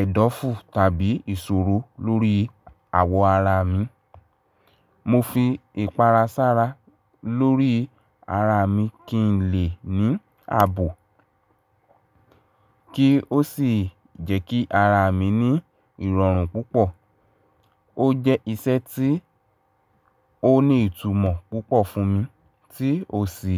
ẹ̀dọ̀fu tàbí ìṣòro lórí àwọ̀ ara mi, mo fi ìpara sára lórí ara mi kí n lè ní àbò kí ó sì jẹ́ kí ara mi ní ìrọ̀rùn púpọ̀. Ó jẹ́ iṣẹ́ tí ó ní ìtumọ̀ púpọ̀ fún mi tí ó sì